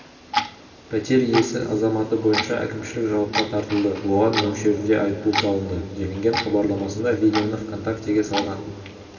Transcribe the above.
пәтер иесі азаматы бойынша әкімшілік жауапқа тартылды оған мөлшерінде айыппұл салынды делінген хабарламасында видеоны вконтакте-ге салған